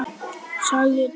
sagði Dóri.